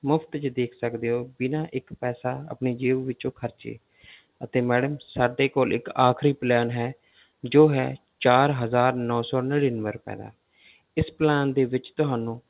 ਮੁਫ਼ਤ 'ਚ ਦੇਖ ਸਕਦੇ ਹੋ ਬਿਨਾਂ ਇੱਕ ਪੈਸਾ ਆਪਣੀ ਜੇਬ ਵਿੱਚੋਂ ਖਰਚੇ ਤੇ madam ਸਾਡੇ ਕੋਲ ਇੱਕ ਆਖ਼ਰੀ plan ਹੈ ਜੋ ਹੈ ਚਾਰ ਹਜ਼ਾਰ ਨੋਂ ਸੌ ਨੜ੍ਹਿਨਵੇਂ ਰੁਪਏ ਦਾ ਇਸ plan ਦੇ ਵਿੱਚ ਤੁਹਾਨੂੰ